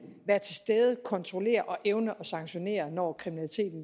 være til stede kontrollere og evne at sanktionere når